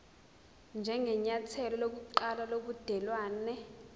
njengenyathelo lokuqala lobudelwane